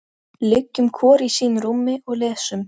Liggjum hvor í sínu rúmi og lesum.